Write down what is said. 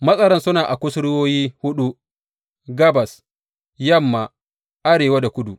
Matsaran suna a kusurwoyi huɗu, gabas, yamma, arewa da kudu.